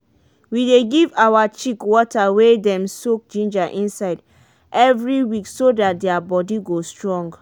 we dey give our chick water wey dem soak ginger inside every week so dat their body go strong.